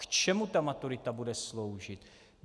K čemu ta maturita bude sloužit?